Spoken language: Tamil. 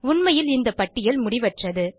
உண்மையில் இந்த பட்டியல் முடிவற்றது